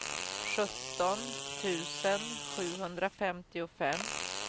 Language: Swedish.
sjutton tusen sjuhundrafemtiofem